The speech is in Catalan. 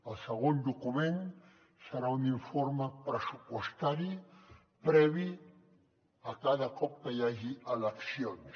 el segon document serà un informe pressupostari previ a cada cop que hi hagi eleccions